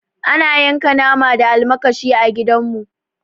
Ana yanka nama da almakashi a gida mu